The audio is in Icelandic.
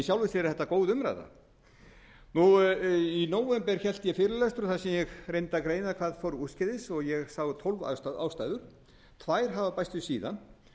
sjálfu sér er þetta góð umræða í nóvember hélt ég fyrirlestur þar sem ég reyndi að greina hvað fór úrskeiðis og ég sá tólf ástæður tvær hafa bæst við síðan